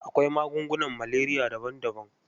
Akwai magungunan maleriya daban-daban.